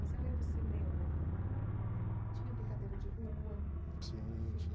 além do cinema, tinha brincadeira de rua? Sim